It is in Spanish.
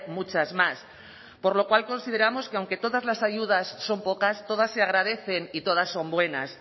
muchas más por lo cual consideramos que aunque todas las ayudas son pocas todas se agradecen y todas son buenas